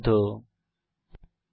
http spoken tutorialorgnmeict intro